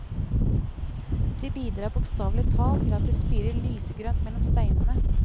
De bidrar bokstavelig talt til at det spirer lysegrønt mellom steinene.